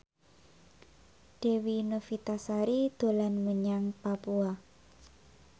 Dewi Novitasari dolan menyang Papua